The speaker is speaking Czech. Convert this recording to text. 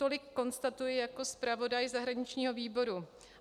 Tolik konstatuji jako zpravodaj zahraničního výboru.